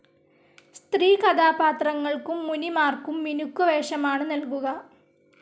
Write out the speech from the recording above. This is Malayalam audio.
സ്ത്രീ കഥാപാത്രങ്ങൾക്കും മുനിമാർക്കും മിനുക്കുവേഷമാണ് നൽകുക.